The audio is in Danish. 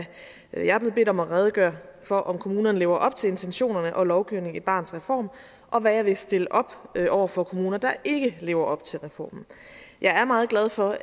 er jeg blevet bedt om at redegøre for om kommunerne lever op til intentionerne og lovgivningen i barnets reform og hvad jeg vil stille op over for kommuner der ikke lever op til reformen jeg er meget glad for